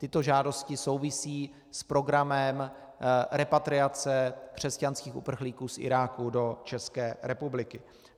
Tyto žádosti souvisí s programem repatriace křesťanských uprchlíků z Iráku do České republiky.